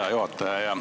Hea juhataja!